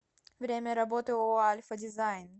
время работы ооо альфа дизайн